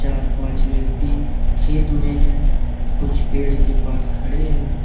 चार पांच व्यक्ति खेत में हैं कुछ पेड़ के पास खड़े हैं।